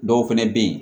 Dɔw fɛnɛ be yen